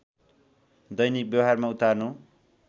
दैनिक व्यवहारमा उतार्नु